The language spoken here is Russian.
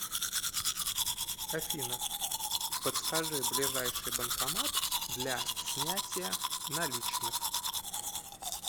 афина подскажи ближайший банкомат для снятия наличных